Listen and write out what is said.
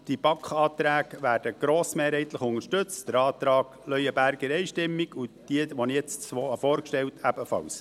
Die BaK-Anträge werden grossmehrheitlich unterstützt, der Antrag Leuenberger einstimmig und die beiden Anträge, die ich jetzt vorgestellt habe, ebenfalls.